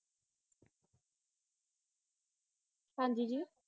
ਹਾਂ ਜੀ ਜੀ